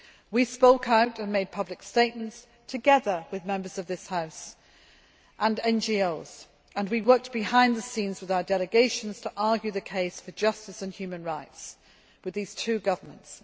We spoke out and made public statements together with Members of this House and NGOs, and we worked behind the scenes with our delegations to argue the case for justice and human rights with these two governments.